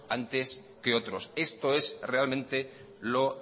antes que otros esto es realmente lo